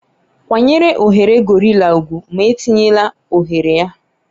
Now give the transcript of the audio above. kwanyere oghere gorilla ugwu ma etinyela oghere ya